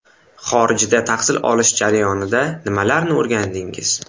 Xorijda tahsil olish jarayonida nimalarni o‘rgandingiz?